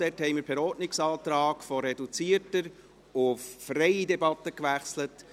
Dort haben wir per Ordnungsantrag von reduzierter auf freie Debatte gewechselt.